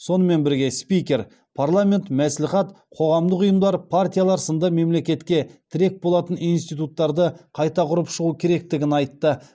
сонымен бірге спикер парламент мәслихат қоғамдық ұйымдар партиялар сынды мемлекетке тірек болатын институттарды қайта құрып шығу керектігін айтты